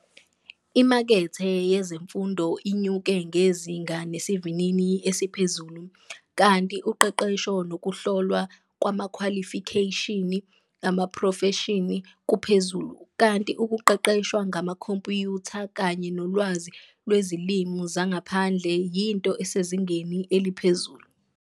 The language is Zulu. Imakethe yezemfundo inyuke ngezinga nesivinini esiphezulu, kanti uqeqesho nokuhlolwa kwamakhwalifikheshini amaphrofeshini kuphezulu, kanti ukuqeqeshwa ngamakhompyutha kanye nolwazi lwezilimi zangaphandle yinto esezingeni eliphezulu.